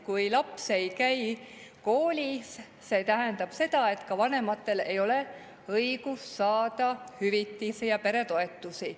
Kui laps ei käi koolis, siis see tähendab seda, et tema vanematel ei ole õigus saada hüvitisi ja peretoetusi.